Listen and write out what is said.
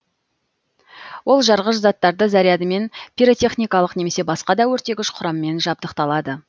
ол жарғыш заттар зарядымен пиротехникалық немесе басқа да өртегіш құраммен жабдықталады